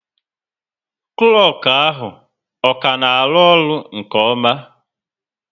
Klọku ahụ ọ ka na arụ-ọrụ nke oma?